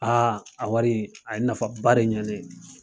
a wari a ye nafaba de ɲɛ ne ye.